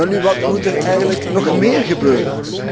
Welnu, wat moet er eigenlijk nog meer gebeuren?